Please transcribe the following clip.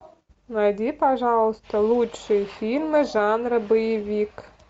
найди пожалуйста лучшие фильмы жанра боевик